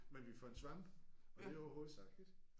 Men vi fandt svampe og det var jo hovedsagen